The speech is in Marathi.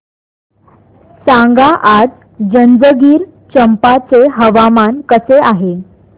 सांगा आज जंजगिरचंपा चे हवामान कसे आहे